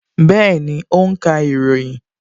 Bẹẹni, ó ń ka ìròyìn